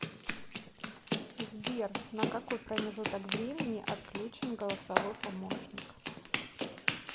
сбер на какой промежуток времени отключен голосовой помощник